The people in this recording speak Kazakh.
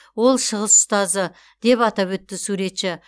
ол шығыс ұстазы деп атап өтті суретші